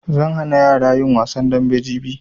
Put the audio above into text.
Zan hana yara yin wasan dambe jibi